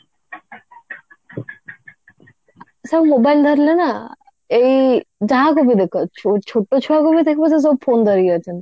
ସବୁ mobile ଧରିଲେ ନା ଏଇ ଯାହାକୁ ବି ଦେଖ ଛୋ ଛୋଟ ଛୁଆକୁ ବି ଦେଖିବ ସିଏ ସବୁ phone ଧରିକି ଅଛନ୍ତି